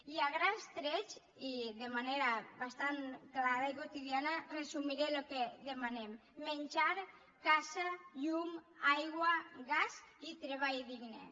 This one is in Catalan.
i a grans trets i de manera bastant clara i quotidiana resumiré el que demanem menjar casa llum aigua gas i treball digne